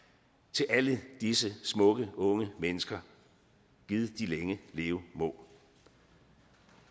til alle disse smukke unge mennesker gid de længe leve må